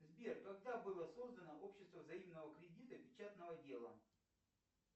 сбер когда было создано общество взаимного кредита печатного дела